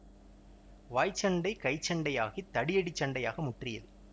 வாய் சண்டை கை சண்டையாகித் தடி அடிச் சண்டையாக முற்றியது